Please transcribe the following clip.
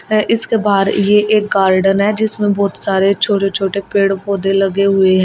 इसके बाहर यह एक गार्डन है जिसमें बहुत सारे छोटे छोटे पेड़ पौधे लगे हुए हैं।